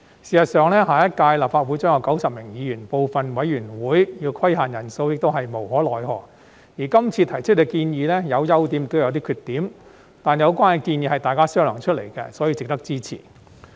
事實上，下一屆立法會將有90名議員，部分委員會要規限人數亦是無可奈何，而今次提出的建議有優點亦有缺點，但有關建議是大家商量出來的，所以值得支持。